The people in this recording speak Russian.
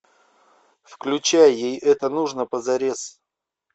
включай ей это нужно позарез